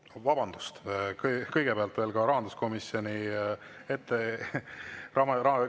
Vabandust, kõigepealt veel ka rahanduskomisjoni ettekanne!